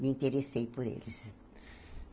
Me interessei por eles.